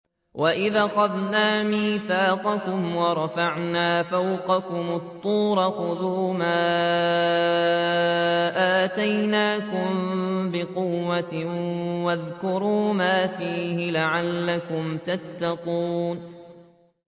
وَإِذْ أَخَذْنَا مِيثَاقَكُمْ وَرَفَعْنَا فَوْقَكُمُ الطُّورَ خُذُوا مَا آتَيْنَاكُم بِقُوَّةٍ وَاذْكُرُوا مَا فِيهِ لَعَلَّكُمْ تَتَّقُونَ